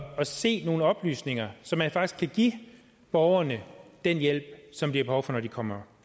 at se nogle oplysninger så man faktisk kan give borgerne den hjælp som de har behov for når de kommer